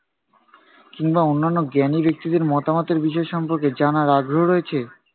কিংবা অন্যান্য জ্ঞানী ব্যক্তিদের মতামতের বিষয় সম্পর্কে জানার আগ্রহ রয়েছে?